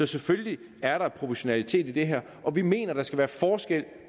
selvfølgelig er der proportionalitet i det her og vi mener at der skal være forskel